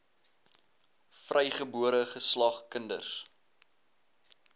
vrygebore geslag kinders